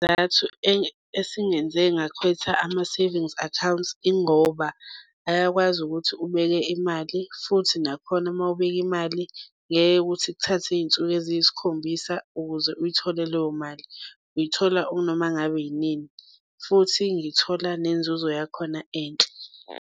Isizathu esingenze ngakhetha ama-savings accounts ingoba ayakwazi ukuthi ubeke imali futhi nakhona mawubeke imali, ngeke ukuthi kuthathe iy'nsuku eziyisikhombisa ukuze uyithole leyo mali. Uyithola unoma ngabe yinini futhi ngithola nenzuzo yakhona enhle.